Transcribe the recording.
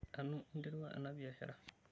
Anu interua ena biashara?